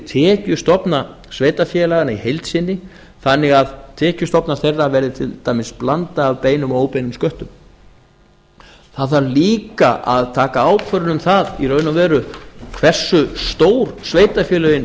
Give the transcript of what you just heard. tekjustofna sveitarfélaganna í heild sinni þannig að tekjustofnar þeirra verði til dæmis blanda af beinum og óbeinum sköttum það þarf líka að taka ákvörðun um það í raun og veru hversu stór sveitarfélögin